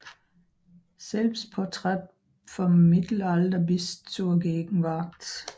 Selbstporträts vom Mittelalter bis zur Gegenwart